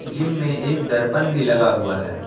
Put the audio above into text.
Gym में एक दर्पण भी लगा हुआ है।